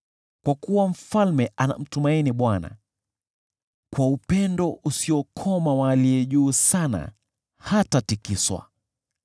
Kwa kuwa mfalme anamtumaini Bwana ; kwa upendo usiokoma wa Aliye Juu Sana hatatikiswa.